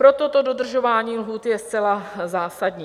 Proto to dodržování lhůt je zcela zásadní.